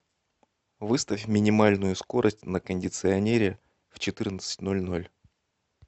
выставь минимальную скорость на кондиционере в четырнадцать ноль ноль